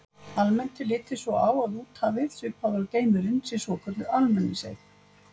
Almennt er litið svo á að úthafið, svipað og geimurinn, sé svokölluð almenningseign.